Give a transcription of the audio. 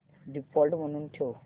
default म्हणून ठेव